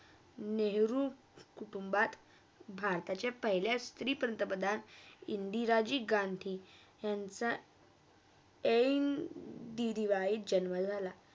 नेहरू कुटुंभात भारताच्या पहिल्या स्त्री पंतप्रधान इंदिराजी गांधी यांचा NDDY यात जन्मा झाला.